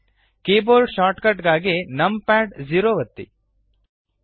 keyboard shortcut ಗಾಗಿ num pad 0 ಒತ್ತಿರಿ